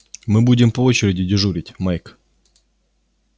мы будем по очереди дежурить майк